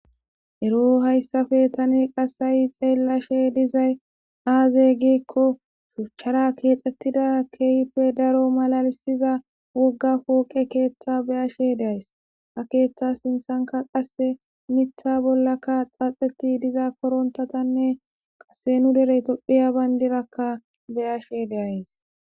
Ero hayssappe tane qassayi xeellashe dizay aaze gikko shuchchara keexxettida keeyippe daro malalisiza wogga pooqe keeththa beyashe deays, ha keeththa sinthanka qasse mitha bollaka xaaxeti diza korontatanne qasse nu derey tophiya bandirakka beyashe deays.